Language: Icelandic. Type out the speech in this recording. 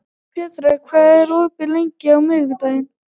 Petrea, hvað er opið lengi á miðvikudaginn?